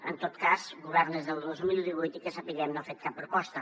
en tot cas governa des del dos mil divuit i que sapiguem no ha fet cap proposta